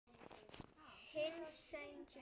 Hinsti sjens.